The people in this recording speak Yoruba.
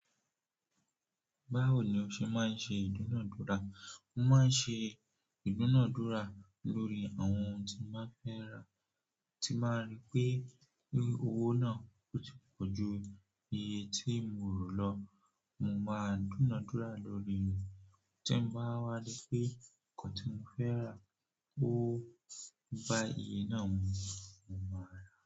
Báwo ni o ṣe máa ń ṣe ìdúnadúrà? Mo máa ń ṣe ìdúnadúrà lórí àwọn ohun tí mo fẹ́ rà tí máa rí pé owó náà kò tí pọ̀ ju iye tí mo rò lọ. Mo máa dúnadúrà lórí rẹ̀ tí n bá wá ri pé ko tun fẹ́ rà ó bá iye náà mu, mo máa rà á.